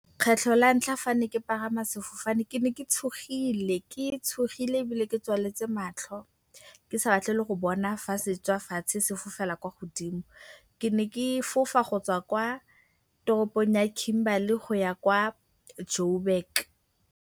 Kgetlho la ntlha fa ke ne ke pagama sefofane ke ne ke tshogile, ke tshogile ebile ke tswaletse matlho, ke sa batle le go bona fa se tswa fatshe se fofela kwa godimo. Ke ne ke fofa go tswa kwa toropong ya Kimberley go ya kwa Jo'burg.